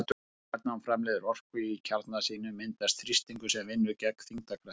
Þegar stjarna framleiðir orku í kjarna sínum myndast þrýstingur sem vinnur gegn þyngdarkraftinum.